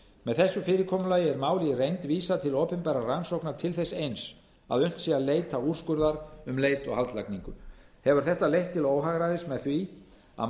með þessu fyrirkomulagi er máli í reynd vísað til opinberrar rannsóknar til þess eins að unnt sé að leita úrskurðar um leit og haldlagningu hefur þetta leitt til óhagræðis með því að máli